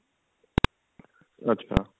ਅੱਛਾ